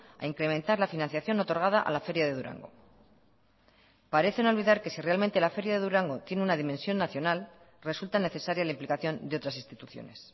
a incrementar la financiación otorgada a la feria de durango parecen olvidar que si realmente la feria de durango tiene una dimensión nacional resulta necesaria la implicación de otras instituciones